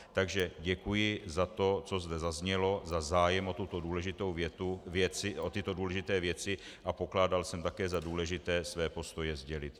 Takže děkuji za to, co zde zaznělo, za zájem o tyto důležité věci, a pokládal jsem také za důležité své postoje sdělit.